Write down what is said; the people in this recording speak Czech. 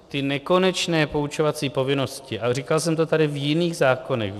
Ty nekonečné poučovací povinnosti, ale říkal jsem to tady v jiných zákonech.